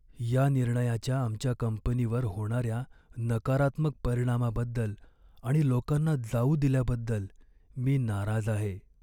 या निर्णयाच्या आमच्या कंपनीवर होणाऱ्या नकारात्मक परिणामाबद्दल आणि लोकांना जाऊ दिल्याबद्दल मी नाराज आहे.